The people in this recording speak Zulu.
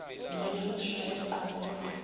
nonya ushaya unqoboka